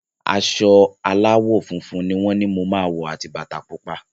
Aṣọ aláwọ̀ funfun ni wọ́n ni mo máa wọ̀ àti bata pupa.